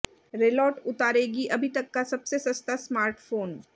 रेलॉट उतारेगी अभी तक का सबसे सस्ता स्मार्टफोन